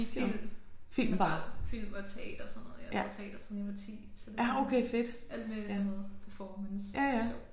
Film og film og teater og sådan noget. Jeg har lavet teater siden jeg var 10 så det sådan alt med sådan noget performance det er sjovt